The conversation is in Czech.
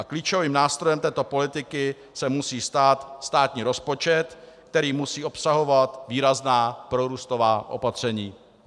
A klíčovým nástrojem této politiky se musí stát státní rozpočet, který musí obsahovat výrazná prorůstová opatření.